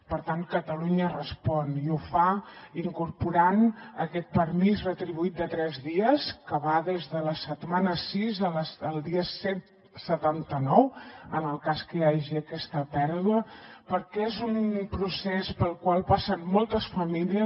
per tant catalunya respon i ho fa incorporant aquest permís retribuït de tres dies que va des de la setmana sis al dia cent i setanta nou en el cas que hi hagi aquesta pèrdua perquè és un procés pel qual passen moltes famílies